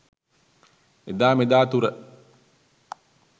එදා මෙදාතුර